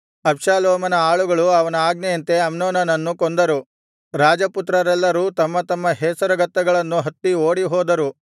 ಅಬ್ಷಾಲೋಮನ ಆಳುಗಳು ಅವನ ಆಜ್ಞೆಯಂತೆ ಅಮ್ನೋನನನ್ನು ಕೊಂದರು ರಾಜಪುತ್ರರೆಲ್ಲರೂ ತಮ್ಮ ತಮ್ಮ ಹೇಸರಗತ್ತೆಗಳನ್ನು ಹತ್ತಿ ಓಡಿಹೋದರು